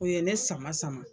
O ye ne sama sama.